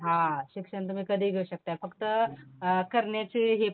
हा, शिक्षण तुम्ही कधीही घेऊ शकता फक्त अ, करण्याची हे पाहिजे आपली